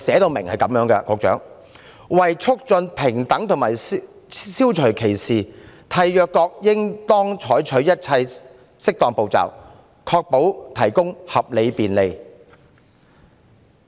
局長，《公約》訂明，為促進平等和消除歧視，締約國應當採取一切適當步驟，確保提供合理便利。